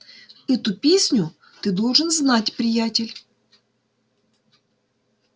эту песню ты должен знать приятель